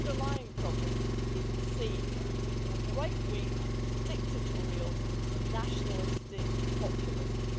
But the underlying problem is the same right-wing, dictatorial, nationalistic populism.